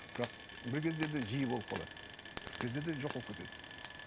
бірақ бір кездерде жиі болып қалады бір кездерде жоқ болып кетеді